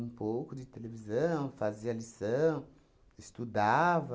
pouco de televisão, fazia lição, estudava.